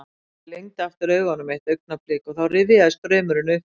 Kamilla lygndi aftur augunum eitt augnablik og þá rifjaðist draumurinn upp fyrir henni.